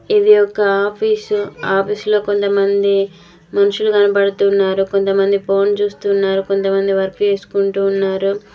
ఇది ఒక ఆఫీసు ఆఫీసులో కొంతమంది మనుషులు కనపడుతున్నారు కొంతమంది ఫోన్ చూస్తున్నారు కొంతమంది వర్క్ చేసుకుంటూ ఉన్నారు.